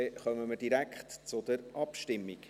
Dann kommen wir direkt zur Abstimmung.